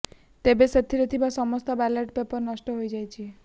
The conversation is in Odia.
ତେବେ ସେଥିରେ ଥିବା ସମସ୍ତ ବାଲଟ୍ ପେପର ନଷ୍ଟ ହୋଇଯାଇଥିଲା